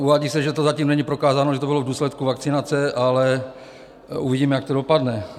Uvádí se, že to zatím není prokázáno, že to bylo v důsledku vakcinace, ale uvidíme, jak to dopadne.